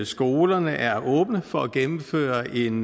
skolerne er åbne for at gennemføre en